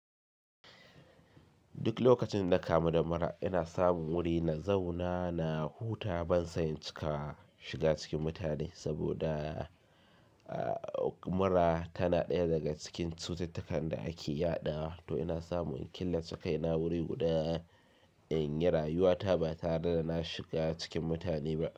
Duk lokacin da na kamu da mura, ina samun wuri na zauna na huta ban san cika shiga cikin mutane saboda mura tana ɗaya daga cikin cututtukan da ake yaɗawa. To ina samu in killace kaina wuri guda in yi rayuwa ta ba tare da na shiga cikin mutane ba.